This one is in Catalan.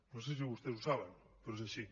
no sé si vostès ho saben però és així